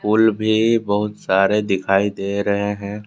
फूल भी बहुत सारे दिखाई दे रहे हैं।